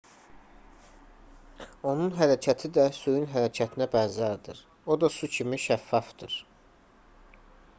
onun hərəkəti də suyun hərəkətinə bənzərdir o da su kimi şəffafdır